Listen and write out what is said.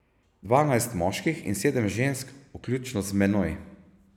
Dvanajst moških in sedem žensk, vključno z menoj.